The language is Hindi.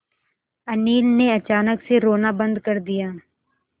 अनिल ने अचानक से रोना बंद कर दिया